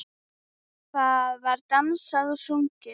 Það var dansað og sungið.